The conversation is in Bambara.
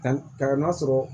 Ka ka n'a sɔrɔ